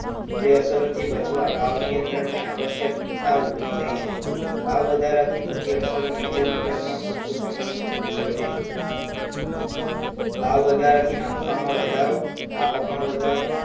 જે અસરોથી બચવા ભાવનિયંત્રણની આવશ્યકતા ઊભી થઈ છે, ભાવવધારાથી થતી અસરો નીચે મુજબ ટૂંકમાં સમજશું સમજીશું ભાવ વધારાથી નફામાં વધારો, આવકમાં વધારો